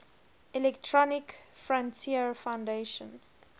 electronic frontier foundation